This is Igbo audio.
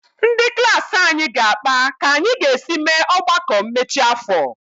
Ndị klaasị anyị ga-akpa ka anyị ga-esi mee ọgbakọ mmechi afọ.